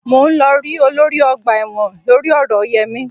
Mò ń lọ rí olórí ọgbà ẹ̀wọ̀n lórí ọ̀rọ̀ Yẹmí